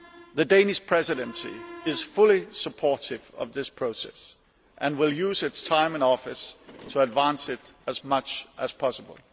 The Danish Presidency is fully supportive of this process and will use its time in office to advance it as much as possible.